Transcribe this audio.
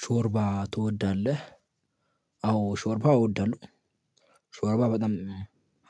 ሾርባ ትወዳለህ? አዎ ሾርባ እወዳለሁ። ሾርባ በጣም